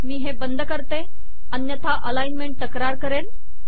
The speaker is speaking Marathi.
मी हे बंद करते अन्यथा अलाइनमेंट तक्रार करेल